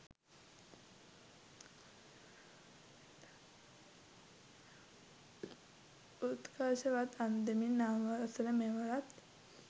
උත්කර්ෂවත් අන්දමින් නව වසර මෙවරත්